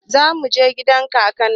Za muje gidan kakan mu